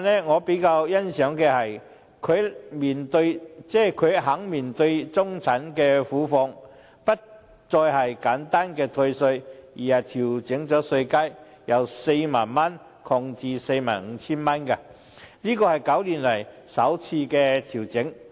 我比較欣賞的，是司長這份預算案願意面對中產苦況，不再是簡單的退稅，而是調整稅階，由 40,000 元擴至 45,000 元，是9年來首次調整。